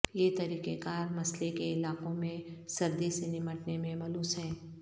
یہ طریقہ کار مسئلے کے علاقوں میں سردی سے نمٹنے میں ملوث ہیں